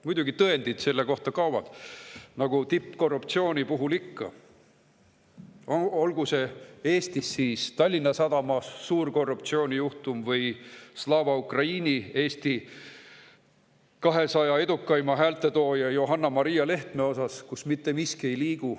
Muidugi, tõendid selle kohta kaovad nagu tippkorruptsiooni puhul ikka, olgu see Eestis siis Tallinna Sadama suur korruptsioonijuhtum või Eesti 200 edukaima hääletooja Johanna-Maria Lehtme ja Slava Ukraini, kus mitte miski ei liigu.